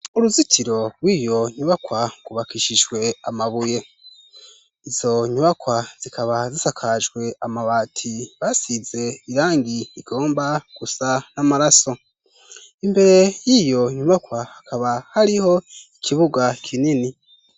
Uruzitiro rw'iyo nyubakwa rwubakishijwe amabuye. Izo nyubakwa zikaba zisakajwe amabati basize irangi igomba gusa n'amaraso imbere y'iyo nyubakwa akaba hariho ikibuga kinini.